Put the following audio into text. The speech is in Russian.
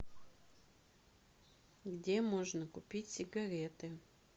где можно купить сигареты